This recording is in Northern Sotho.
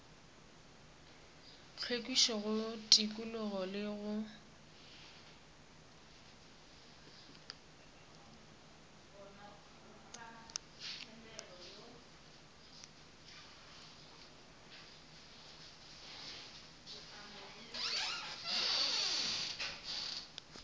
hlwekišo go tikologo le go